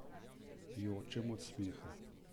Jočem od smeha.